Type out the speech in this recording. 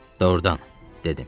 Doğrudan, dedim.